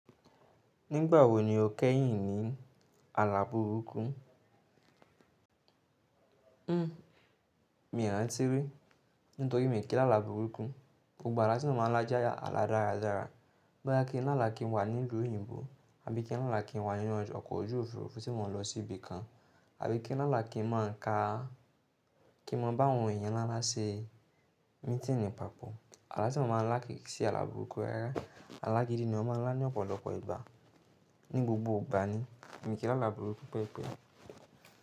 Nígbà wo ni o kẹ́yìn ní àlà burúkú? Hmmm mi rántí rí, nítorí mo kí lálà burúkú. Gbogbo àlá tí mo máa ń lá jẹ́ àlá dáradára. Bóyá kí lálá kí n wà nílùú òyìnbó, àbí kí lálá kí n wà nínú ọkọ̀ ojú òfuurufú tí mo n lọ sí ibi kan, àbí kí lala kí n máa ń ka-- kí mo bá àwọn èèyàn ńlá ńlá ṣe mítìní pàpọ̀. Àlá tí mo máa ń lá kì í ṣe àlà burúkú rárá. Àlá gidi ni mo máa ń lá ní ọ̀pọ̀lọpọ̀ ìgbà. Ní gbogbo ìgbà ni, mo kí lálà burúkú pẹ́epẹ́.